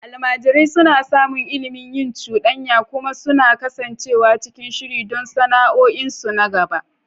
Almajirai suna samun ilimi, yin cuɗanya, kuma su kasance cikin shiri don sana'o'insu na gaba.